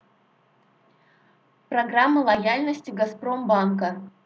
программа лояльности газпромбанка